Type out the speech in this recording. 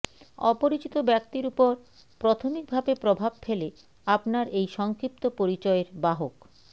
অপরিচিত ব্যক্তির উপর প্রথমিকভাবে প্রভাব ফেলে আপনার এই সংক্ষিপ্ত পরিচয়ের বাহক